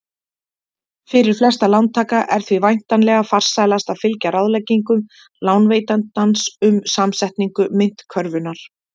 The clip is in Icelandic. Fyrir flesta lántaka er því væntanlega farsælast að fylgja ráðleggingum lánveitandans um samsetningu myntkörfunnar.